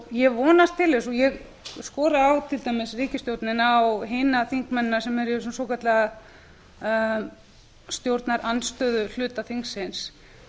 ég vonast til og ég skora á til dæmis ríkisstjórnina og hina þingmennina sem eru í þessum svokallaða stjórnarandstöðuhluta þingsins enn